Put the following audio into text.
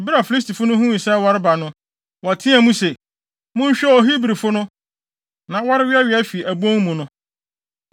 Bere a Filistifo no huu sɛ wɔreba no, wɔteɛɛ mu se, “Monhwɛ o! Hebrifo no na wɔreweawea afi wɔn abon mu no!”